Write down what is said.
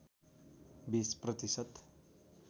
२० प्रतिशत